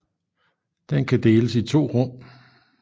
Den kan deles i to rum